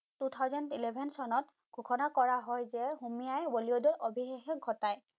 Two thousand eleven চনত ঘোষণা কৰা হয় যে হুমাই বলিউডৰ অভিশেষ ঘটাই